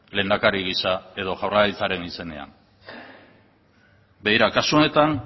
lehendakari gisa edo jaurlaritzaren izenean begira kasu honetan